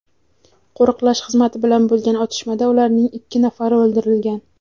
Qo‘riqlash xizmati bilan bo‘lgan otishmada ularning ikki nafari o‘ldirilgan.